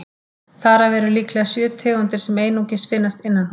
Þar af eru líklega sjö tegundir sem einungis finnast innanhúss.